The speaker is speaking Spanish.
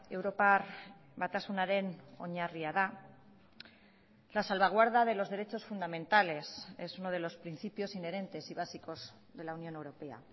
europar batasunaren oinarria da la salvaguarda de los derechos fundamentales es uno de los principios inherentes y básicos de la unión europea